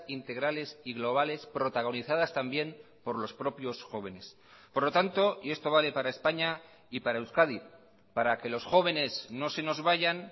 integrales y globales protagonizadas también por los propios jóvenes por lo tanto y esto vale para españa y para euskadi para que los jóvenes no se nos vayan